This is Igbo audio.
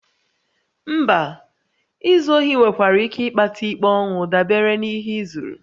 Mba, izu ohi nwekwara ike ịkpata ikpe ọnwụ dabere n'ihe ị zuru